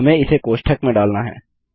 हमें इसे कोष्ठक में डालना है